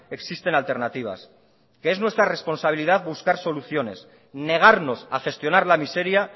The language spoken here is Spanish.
existen alternativas que es nuestra responsabilidad buscar soluciones negarnos a gestionar la miseria